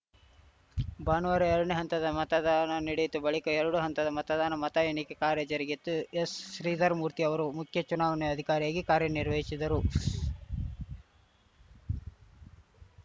ಭಾನುವಾರ ಎರಡನೇ ಹಂತದ ಮತದಾನ ನಡೆಯಿತು ಬಳಿಕ ಎರಡೂ ಹಂತದ ಮತದಾನ ಮತ ಎಣಿಕೆ ಕಾರ್ಯ ಜರುಗಿತು ಎಸ್‌ಶ್ರೀಧರಮೂರ್ತಿ ಅವರು ಮುಖ್ಯಚುನಾವಣಾಧಿಕಾರಿಯಾಗಿ ಕಾರ್ಯ ನಿರ್ವಹಿಶಿದರು